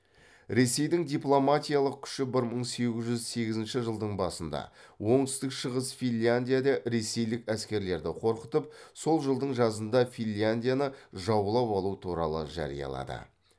ресейдің дипломатиялық күші бір мың сегіз жүз сегізінші жылдың басында оңтүстік шығыс финляндияда ресейлік әскерлерді қорқытып сол жылдың жазында финляндияны жаулап алу туралы жариялады